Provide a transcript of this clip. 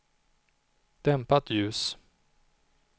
dämpat ljus